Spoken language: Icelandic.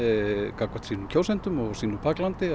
gagnvart sínum kjósendum og sínu baklandi